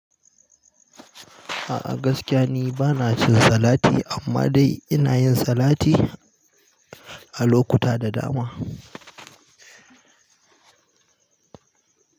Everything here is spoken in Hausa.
A, a gaskiya ni bana cin salati amma dai inayin salati a lokuta da dama.